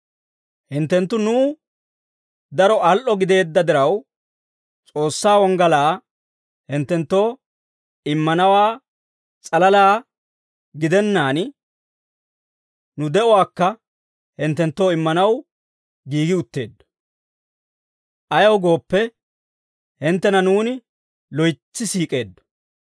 Hinttenttu nuw daro al"o gideedda diraw, S'oossaa wonggalaa hinttenttoo immanawaa s'alalaa gidennaan, nu de'uwaakka hinttenttoo immanaw giigi utteeddo; ayaw gooppe, hinttena nuuni loytsi siik'eeddo.